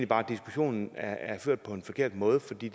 bare diskussionen er ført på en forkert måde for det